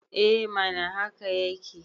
e mana haka yake